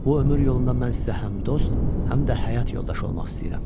Bu ömür yolunda mən sizə həm dost, həm də həyat yoldaşı olmaq istəyirəm.